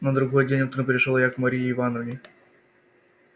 на другой день утром пришёл я к марье ивановне